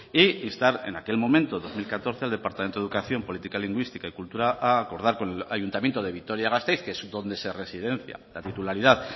e instar en aquel momento dos mil catorce al departamento de educación política lingüística y cultura a acordar con el ayuntamiento de vitoria gasteiz que es donde se residencia la titularidad